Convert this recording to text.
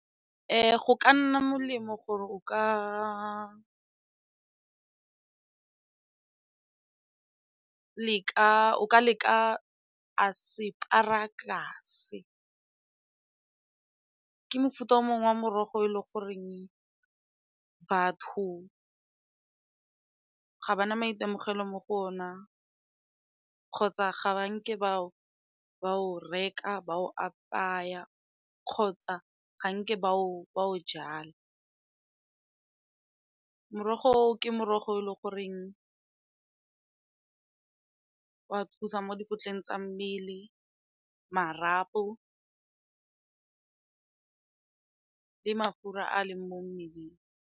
Go ka nna molemo gore o ka leka ke mofuta o mongwe wa morogo e le goreng batho ga ba na maitemogelo mo go ona kgotsa ga ba nke ba o reka ba o apaya kgotsa ga nke ba o jala. Merogo ke morogo e le goreng ka thusa mo tsa mmele, marapo le mafura a leng mo mmeleng.